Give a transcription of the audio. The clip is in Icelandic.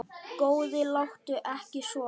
Góði, láttu ekki svona.